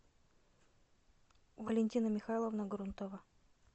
валентина михайловна грунтова